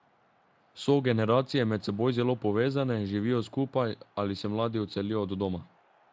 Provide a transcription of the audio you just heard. So generacije med seboj zelo povezane, živijo skupaj, ali se mladi odselijo od doma?